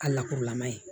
A lakurulama ye